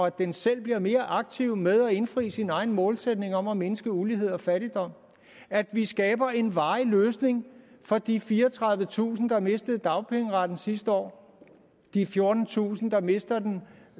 at den selv bliver mere aktiv med at indfri sin egen målsætning om at mindske ulighed og fattigdom at vi skaber en varig løsning for de fireogtredivetusind mennesker der mistede dagpengeretten sidste år og de fjortentusind der mister den